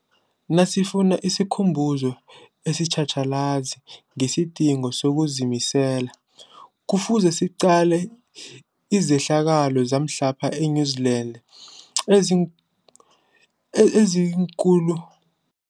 Nasifuna isikhumbuzo esitjhatjhalazi ngesidingo sokuzimisela, Kufuze siqale izehlakalo zamhlapha e-New Zealand eziin eziinkulu